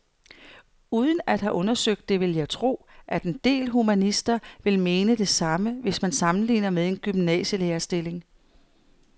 Uden at have undersøgt det vil jeg tro, at en del humanister vil mene det samme, hvis man sammenligner med en gymnasielærerstilling.